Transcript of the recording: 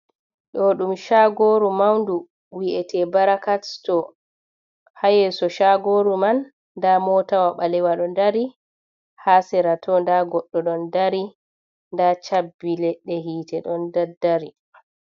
Ɗoɗum chagoru maundu. Wi’ete barakat sto. Hayeso shagoru man nda motawa balewa do dari, ha serato nda goddo don dari, nda cabbi ledde hite don daddari.